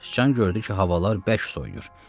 Sıcan gördü ki, havalar bərk soyuyur.